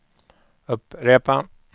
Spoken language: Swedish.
upprepa